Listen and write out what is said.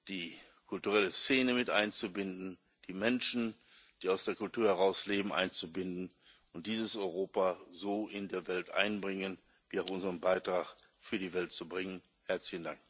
die kulturelle Szene mit einzubinden, die Menschen, die aus der Kultur heraus leben, einzubinden, und dieses Europa so in der Welt einbringen und unseren Beitrag für die Welt leisten.